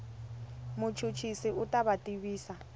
muchuchisi u ta ku tivisa